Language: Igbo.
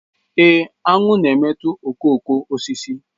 Ee, aṅụ na-emetọ okooko osisi